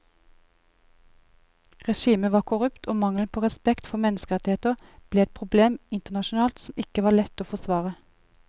Regimet var korrupt og mangelen på respekt for menneskerettigheter ble et problem internasjonalt som ikke var lett å forsvare.